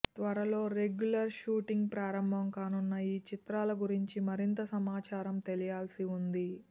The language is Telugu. త్వరలో రెగ్యులర్ షూటింగ్ ప్రారంభం కానున్న ఈ చిత్రాల గురించి మరింత సమాచారం తెలియాల్సి ఉంది